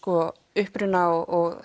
uppruna og